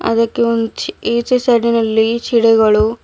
ಅದಕ್ಕೆ ಒಂದು ಇಚ್ ಈಚೆ ಸೈಡಿನಲ್ಲಿ ಚಿಡಿಗಳು--